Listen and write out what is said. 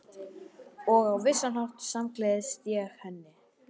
Og á vissan hátt samgleðst ég henni.